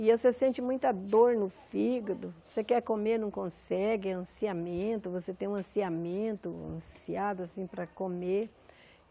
E aí você sente muita dor no fígado, você quer comer, não consegue, é ansiamento, você tem um ansiamento, ansiado assim para comer.